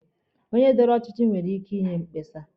Onye dọrọ ọchịchị nwere ike inye mkpesa.